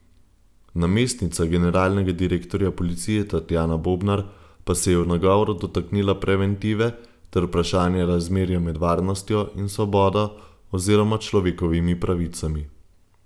Namestnica generalnega direktorja policije Tatjana Bobnar pa se je v nagovoru dotaknila preventive ter vprašanja razmerja med varnostjo in svobodo oziroma človekovimi pravicami.